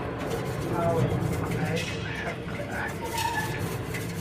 aaway maqaayada maxaliga ah ee kuugu dhow?